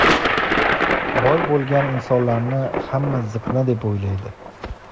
boy bo‘lgan insonlarni hamma ziqna deb o‘ylaydi.